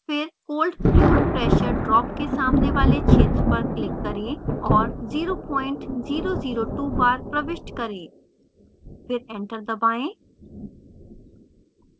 फिर cold fluid pressure drop के सामने वाले क्षेत्र पर click करें और 0002 bar प्रविष्ट करें